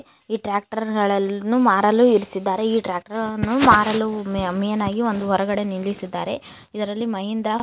ಈ ಟ್ರಾಕ್ಟರ್ ಗಳನ್ನು ಮಾರಲು ಇರಿಸಿದ್ದಾರೆ ಈ ಟ್ಯಾಕ್ಟರ್ ಗಳನ್ನು ಮಾರಲು ಮೇನ ಆಗಿ ಒಂದು ಹೊರಗಡೆ ನಿಲ್ಲಿಸಿದ್ದಾರೆ ಇದರಲ್ಲಿ ಮಹೇಂದ್ರ --